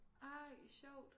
Ej sjovt